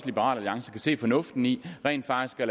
liberal alliance kan se fornuften i rent faktisk at